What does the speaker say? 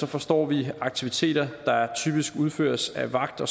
forstår vi aktiviteter der typisk udføres af vagt og